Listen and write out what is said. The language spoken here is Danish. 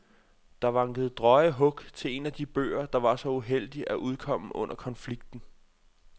Der vankede drøje hug til en af de bøger, der var så uheldig at udkomme under konflikten.